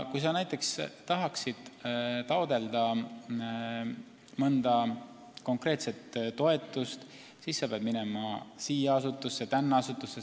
Kui sa näiteks tahad taotleda mõnda konkreetset toetust, siis sa pead minema sinna või tänna asutusse.